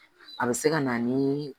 A bɛ se ka na ni